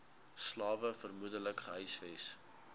slawe vermoedelik gehuisves